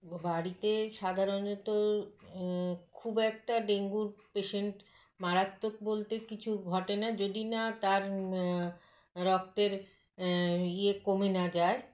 ব বাড়িতে সাধারণত এ খুব একটা ডেঙ্গুর patient মারাত্মক বলতে কিছু ঘটেনা যদিনা তার মআ রক্তের আ ইয়ে কমে না যায়